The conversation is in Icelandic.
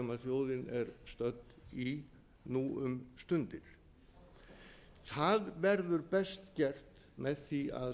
þjóðin er stödd í nú um stundir það verður best gert með því að